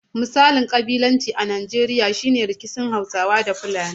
Misalin ƙabilanci a Najeriya shi ne rikici tsakanin Hausawa da Fulani.